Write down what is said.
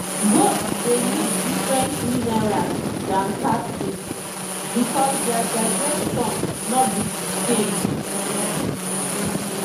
goats dey need different minerals than cattle because their digestion no be the same. um